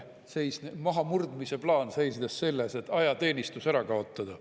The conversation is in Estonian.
Mahamurdmise plaan seisnes selles, et ajateenistus ära kaotada.